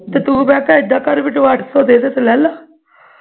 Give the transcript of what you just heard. ਤੇ ਤੂੰ ਮੈਂ ਕਿਹਾ ਏਦਾ ਕਰ ਅੱਠ ਸੌ ਦੇ ਦੇ ਤੇ ਲੱਲੇ